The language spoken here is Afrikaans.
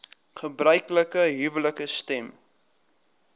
gebruiklike huwelike stem